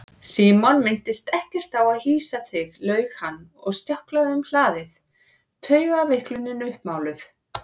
Símon minntist ekkert á að hýsa þig laug hann og stjáklaði um hlaðið, taugaveiklunin uppmáluð.